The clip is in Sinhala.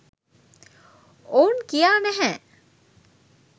ඔවුන් කියා නැහැ.